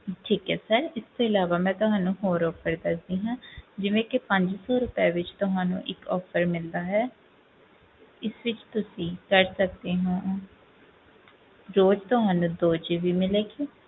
ਠੀਕ ਹੈ sir ਇਸ ਤੋਂ ਇਲਾਵਾ ਮੈਂ ਤੁਹਾਨੂੰ ਹੋਰ offer ਦੱਸਦੀ ਹਾਂ ਜਿਵੇਂ ਕਿ ਪੰਜ ਸੌ ਰੁਪਏ ਵਿੱਚ ਤੁਹਾਨੂੰ ਇੱਕ offer ਮਿਲਦਾ ਹੈ ਇਸ ਵਿੱਚ ਤੁਸੀਂ ਕਰ ਸਕਦੇ ਹੋ ਰੋਜ਼ ਤੁਹਾਨੂੰ ਦੋ GB ਮਿਲੇਗੀ,